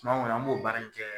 Tuma kɔni an b'o baara in kɛ